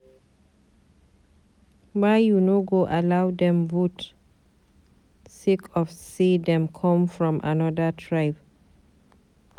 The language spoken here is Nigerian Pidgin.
Why you no go allow dem vote sake of say dem come from anoda tribe.